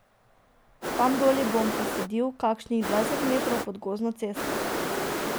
Tam doli bom posadil, kakšnih dvajset metrov pod gozdno cesto.